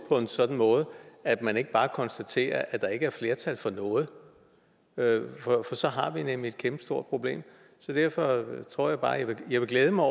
på en sådan måde at man ikke bare konstaterer at der ikke er flertal for noget for så har vi nemlig et kæmpestort problem derfor tror jeg bare at jeg vil glæde mig